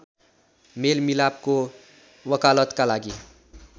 मेलमिलापको वकालतका लागि